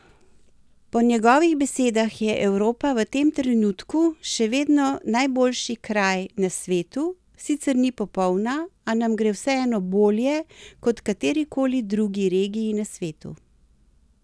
Po njegovih besedah je Evropa v tem trenutku še vedno najboljši kraj na svetu, sicer ni popolna, a nam gre vseeno bolje kot katerikoli drugi regiji na svetu.